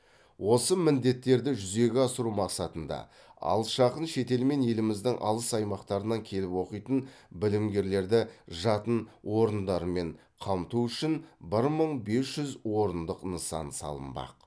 осы міндеттерді жүзеге асыру мақсатында алыс жақын шетел мен еліміздің алыс аймақтарынан келіп оқитын білімгерлерді жатын орындармен қамту үшін бір мың бес жүз орындық нысан салынбақ